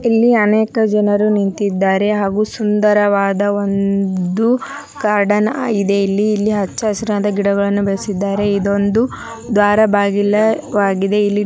ಇಲ್ಲಿ ಅನೇಕ ಜನರು ನಿಂತಿದಾರೆ ಹಾಗು ಸುಂದರವಾದ ಒಂದು ಗಾರ್ಡನ್ ಆಗಿದೆ ಇಲ್ಲಿ ಇಲ್ಲಿ ಹಚ್ಚ ಹಸಿರಾದ ಗಿಡಗಳನ್ನೂ ಬೆಳಿಸಿದ್ದಾರೆ ಇದೊಂದು ದ್ವಾರ ಬಾಗಿಲ ಆಗಿದೆ ಇಲ್ಲಿ --